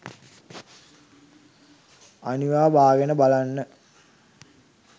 අනිවා බාගෙන බලන්න